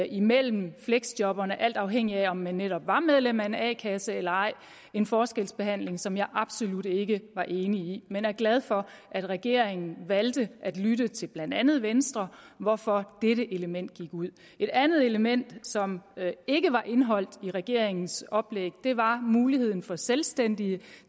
imellem fleksjobberne alt afhængigt af om man netop var medlem af en a kasse eller ej en forskelsbehandling som jeg absolut ikke var enig i men jeg er glad for at regeringen valgte at lytte til blandt andet venstre hvorfor dette element gik ud et andet element som ikke var indeholdt i regeringens oplæg var muligheden for selvstændige